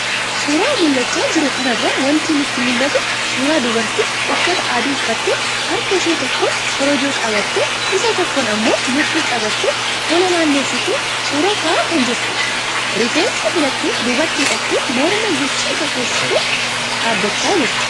Suuraa mul'achaa jiru kanarraa wanti nutti mul'atu, suuraa dubartii uffata adii uffattee harka ishee tokkoon korojoo qabattee, Isa tokkoon ammoo mudhii qabattee fuula naannessitee suuraa ka'aa kan jirtudha. Rifeensa filtee duubatti hidhattee morma guchii fakkeessitee dhaabachaa jirti.